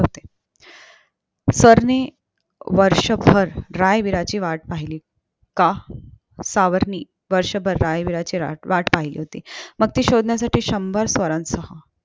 वर्षभर रायवीरची वाट पहिली का सावर्णि वर्षभर राजबीराची वाट पहिली होती मग ती शोधण्यासाठी शंभर स्वारांसह